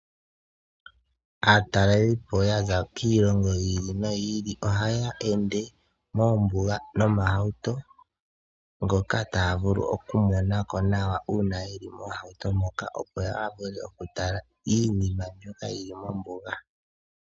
Aatalelipo yaza kiilongo yi ili noyi ili ohaya ende mombuga nomahauto ngoka taya vulu okumonako nawa uuna yeli mohauto moka opo ya vule okutala iinima mbyoka yili mombuga.